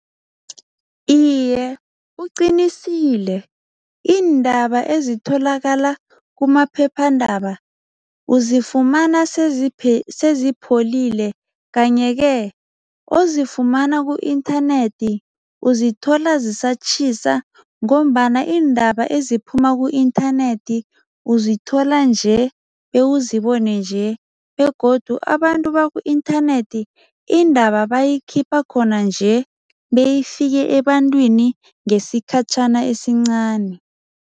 Iye, uqinisile. Iindaba ezitholakala kumaphephandaba uzifumana sezipholile kanye-ke ozifumana ku-inthanethi uzithola zisatjhisa ngombana iindaba eziphuma ku-inthanethi uzithola nje bewuzibone nje begodu abantu baku-inthanethi, indaba bayikhipha khona nje beyifike ebantwini ngesikhatjhana esincani.